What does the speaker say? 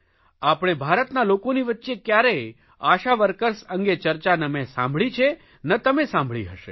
આપણે ભારતના લોકોની વચ્ચે ક્યારેય આશા વર્કર્સ અંગે ચર્ચા ન મેં સાંભળી છે ન તમે સાંભળી હશે